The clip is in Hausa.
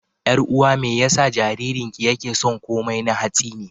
Ƴar'uwa me yasa jaririnki yake son komai na hatsi ne?